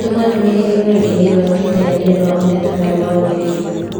Tũma ndũmĩrĩri rũrenda-inī rũa tũita ya niũndũ wa mateta maya marũmĩrĩire